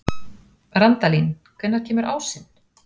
Randalín, hvenær kemur ásinn?